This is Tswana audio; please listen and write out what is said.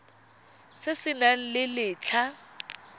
se se nang le letlha